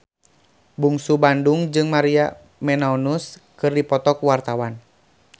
Bungsu Bandung jeung Maria Menounos keur dipoto ku wartawan